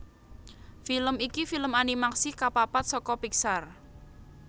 Film iki film animasi kapapat saka Pixar